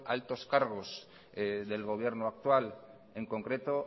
altos cargos del gobierno actual en concreto